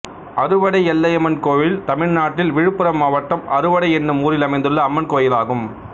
அறுவடை எல்லையம்மன் கோயில் தமிழ்நாட்டில் விழுப்புரம் மாவட்டம் அறுவடை என்னும் ஊரில் அமைந்துள்ள அம்மன் கோயிலாகும்